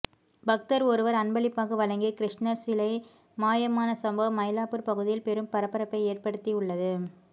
பக்தர் ஒருவர் அன்பளிப்பாக வழங்கிய கிருஷ்ணர் சிலை மாயமான சம்பவம் மயிலாப்பூர் பகுதியில் பெரும் பரபரப்பை ஏற்படுத்தி உள்ளது